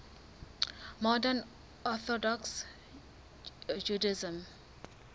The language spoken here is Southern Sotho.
modern orthodox judaism